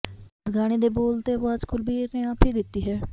ਇਸ ਗਾਣੇ ਦੇ ਬੋਲ ਤੇ ਆਵਾਜ਼ ਕੁਲਬੀਰ ਨੇ ਆਪ ਹੀ ਦਿੱਤੀ ਹੈ